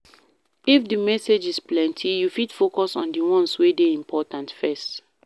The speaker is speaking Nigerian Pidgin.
If di messages plenty you fit focus on di ones wey de important first